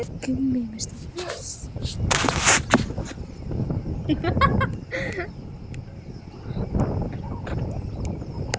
En þannig var það ekki lengur.